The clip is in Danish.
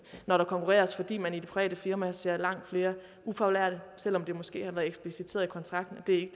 når der konkurreres fordi man i de private firmaer ser langt flere ufaglærte selv om det måske har været ekspliciteret i kontrakten at det